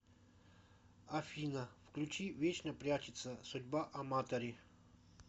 афина включи вечно прячется судьба аматори